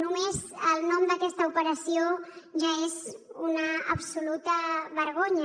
només el nom d’aquesta operació ja és una absoluta vergonya